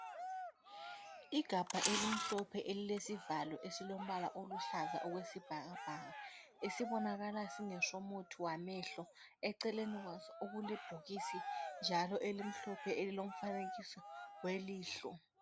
Igabha elimhlophe elilesivalo esilombala oluhlaza okwesibhakabhaka esibonakala singesomuthi wamehlo eceleni kwaso okulebhokisi njalo elimhlophe elilomfanekiso welihlo.